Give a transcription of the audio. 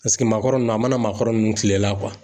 Paseke, maakɔrɔ nunnu, a mana maakɔrɔ nunnu kile la